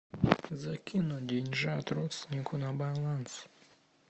закинуть деньжат родственнику на баланс